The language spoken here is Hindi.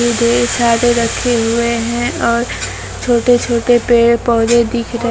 ढेर सारे रखे हुए हैं और छोटे छोटे पेड़ पौधे दिख र--